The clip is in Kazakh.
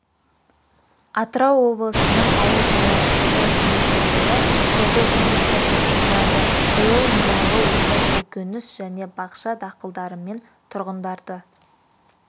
атырау облысының ауыл шаруашылығы еңбеккерлері жылды жемісті қорытындылады биыл мұнайлы өңір көкөніс және бақша дақылдарымен тұрғындарды